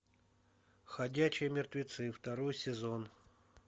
ходячие мертвецы второй сезон